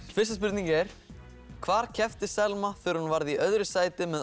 fyrsta spurning er hvar keppti Selma þegar hún varð í öðru sæti með